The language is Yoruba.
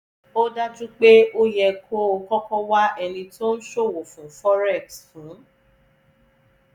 ó dájú pé ó yẹ kó o kọ́kọ́ wa ẹni tó ń ṣòwò fún forex fún